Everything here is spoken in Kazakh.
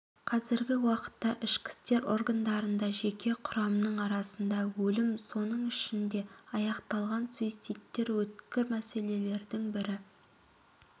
қазіргі уақытта ішкі істер органдарында жеке құрамның арасында өлім оның ішінде аяқталған суицидтер өткір мәселелердің бірі